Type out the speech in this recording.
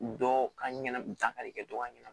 Dɔn ka ɲana dankari kɛ dɔ ka ɲɛnama